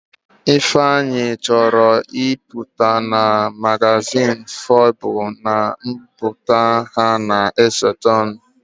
Ifeanyi chọrọ ịpụta na magazin Forbes na mbipụta ha na-esotenụ